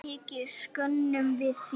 Mikið söknum við þín.